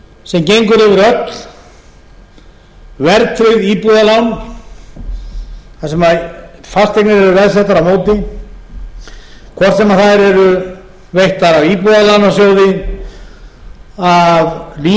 sem gengur yfir öll verðtryggð íbúðalán þar sem fasteignir eru veðsettar á móti hvort sem þær eru veittar af íbúðalánasjóði af lífeyrissjóðunum af bönkunum eða